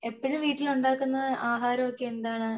എപ്പോഴും വീട്ടിൽ ഉണ്ടാക്കുന്ന ആഹാരം ഒക്കെ എന്താണ്